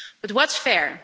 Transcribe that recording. But what's fair?